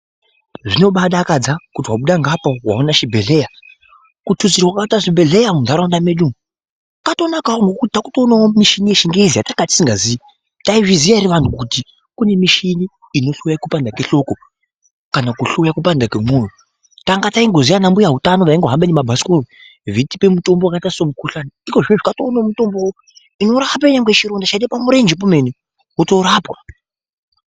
Zvinombaadakadza kuti wabuda ngeapa waona chibhedhleya. Kututsirwa kwakaitwa zvibhedhlera mundau mwedu umwa kwatonakawo ngekuti taakuonawo muchini yechingezi yatanga tisingaziyi. Taizviziya ere antu kuti kunemuchini unohloya kupanda kwehloko kana kuhloya kupanda kwemwoyo. Tanga taingoziya anambuya utano aihamba nemabhasikoro vaitipa mutombo wakaita semukhuhlani ikozvino kunemutombo inotorape nyangwe chironda chaite pamurenje pemenemene wotorapwa.